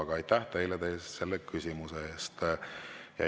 Aga aitäh teile selle küsimuse eest!